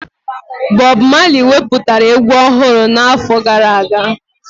Bọb Mali wepụtara egwu ọhụrụ n'ọnwa gara aga